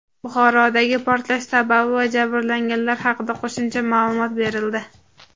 Buxorodagi portlash sababi va jabrlanganlar haqida qo‘shimcha ma’lumot berildi.